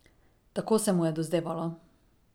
Tako se mu je dozdevalo.